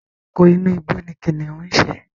Ẹranko inú igbó ni kìnnìún ń ṣe.